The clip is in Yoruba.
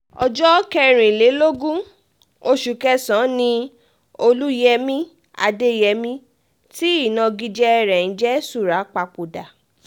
ọjọ́ kẹrìnlélógún oṣù kẹsàn-án ni olùyẹmi adéyẹmi tí ìnagijẹ rẹ̀ ń jẹ́ súrà papòdà